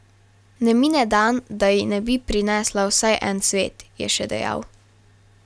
Ne mine dan, da ji ne bi prinesla vsaj en cvet, je še dejal.